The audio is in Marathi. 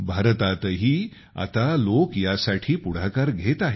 भारतातही आता लोक यासाठी पुढाकार घेत आहेत